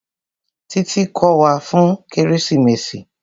Títí kò wá fún kérésìmesì.